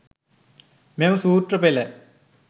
මෙම සූත්‍ර පෙළ